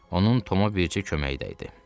Onun Tomu bircə köməyi idi.